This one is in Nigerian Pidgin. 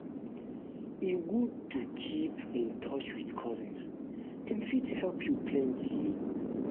um e good to keep um in touch with cousins; dem um fit help you plenty.